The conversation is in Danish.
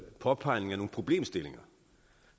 en påpegning af nogle problemstillinger